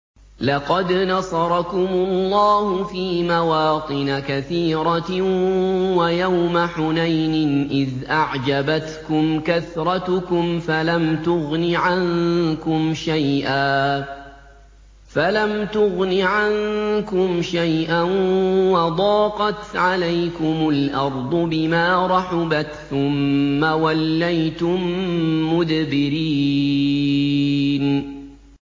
لَقَدْ نَصَرَكُمُ اللَّهُ فِي مَوَاطِنَ كَثِيرَةٍ ۙ وَيَوْمَ حُنَيْنٍ ۙ إِذْ أَعْجَبَتْكُمْ كَثْرَتُكُمْ فَلَمْ تُغْنِ عَنكُمْ شَيْئًا وَضَاقَتْ عَلَيْكُمُ الْأَرْضُ بِمَا رَحُبَتْ ثُمَّ وَلَّيْتُم مُّدْبِرِينَ